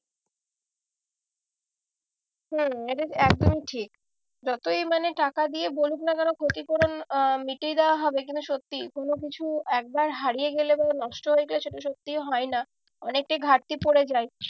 হম এটা একদমই ঠিক যতই মানে টাকা দিয়ে বলুক না কেন ক্ষতিপূরণ আহ মিটিয়ে দেওয়া হবে কিন্তু সত্যি কোনো কিছু একবার হারিয়ে গেলে বা নষ্ট হয়ে গেলে সেটা সত্যি হয় না। অনেকটাই ঘাটতি পরে যায়।